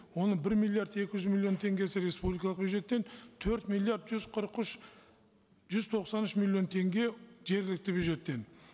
оның бір миллиард екі жүз миллион теңгесі республикалық бюджеттен төрт миллиар жүз қырық үш жүз тоқсан үш миллион теңге жергілікті бюджеттен